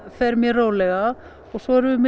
fer mér rólega og svo erum við með